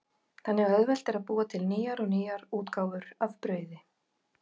Þannig er auðvelt að búa til nýjar og nýjar útgáfur af brauði.